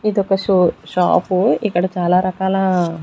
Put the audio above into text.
ఇదొక షో-- షాప్ ఇక్కడ చాలా రకాల.